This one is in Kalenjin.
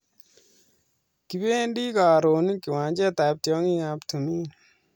Kibendii karon kiwanjet ab tiong'ing ab tumin.